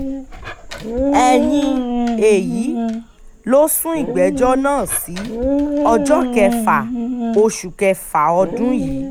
ẹ̀yìn èyí ló sún ìgbẹ́jọ́ náà sí ọjọ́ kẹfà oṣù kẹfà ọdún yìí